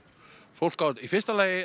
fólk á í fyrsta lagi